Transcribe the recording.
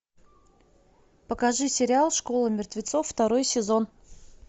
покажи сериал школа мертвецов второй сезон